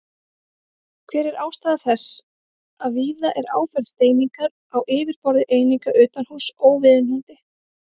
Hver er ástæða þess að víða er áferð steiningar á yfirborði eininga utanhúss óviðunandi?